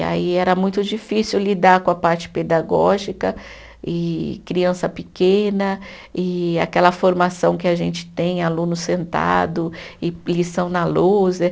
E aí era muito difícil lidar com a parte pedagógica e criança pequena e aquela formação que a gente tem, aluno sentado e lição na lousa